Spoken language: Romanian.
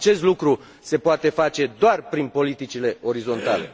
Acest lucru se poate face doar prin politicile orizontale.